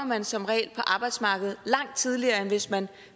man som regel på arbejdsmarkedet langt tidligere end hvis man